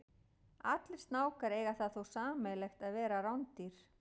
Allir snákar eiga það þó sameiginlegt að vera rándýr.